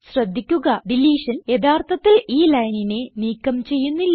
ശ്രദ്ധിക്കുക ഡിലീഷൻ യഥാർത്ഥത്തിൽ ഈ ലൈനിനെ നീക്കം ചെയ്യുന്നില്ല